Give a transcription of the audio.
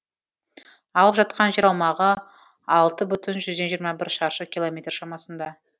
алып жатқан жер аумағы алты бүтін жүзден жиырма бір шаршы километр шамасында